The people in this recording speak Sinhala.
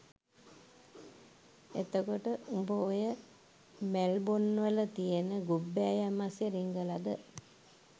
එතකොට උඹ ඔය මැල්බොන්වල තියෙන ගුබ්බෑයම් අස්සෙ රිංගලද